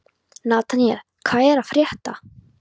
Nataníel, hvað er að frétta?